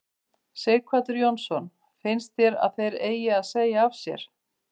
Sighvatur Jónsson: Finnst þér að þeir eigi að segja af sér?